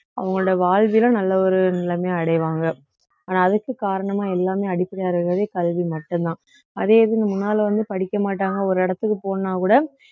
அவங்களோட வாழ்விலும் நல்ல ஒரு நிலைமையை அடைவாங்க ஆனா அதுக்கு காரணமா எல்லாமே அடிப்படையா இருக்கிறது கல்வி மட்டும்தான் அதே இதுன்னு முன்னால வந்து படிக்க மாட்டாங்க ஒரு இடத்துக்கு போகணும்னா கூட